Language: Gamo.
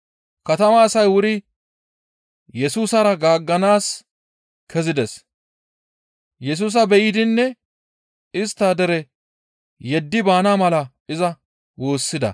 Katamaa asay wuri Yesusara gaagganaas kezides. Yesusa be7idinne istta dere yeddi baana mala iza woossida.